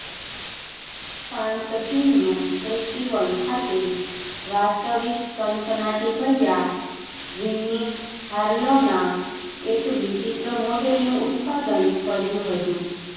Cannes film festival ખાતે વાસ્તવિક સનસનાટીભર્યા વિન્ની હાર્લોના એક વિચિત્ર મોડેલનું ઉત્પાદન કર્યું હતું